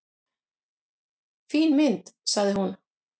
"""Fín mynd, sagði hún."""